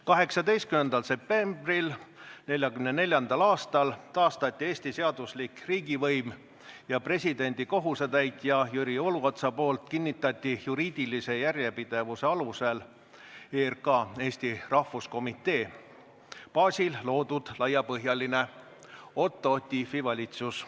18. septembril 1944. aastal taastati Eesti seaduslik riigivõim ja presidendi kohusetäitja Jüri Uluots kinnitas ametisse juriidilise järjepidevuse alusel ERK, Eesti Rahvuskomitee baasil loodud laiapõhjalise Otto Tiefi valitsuse.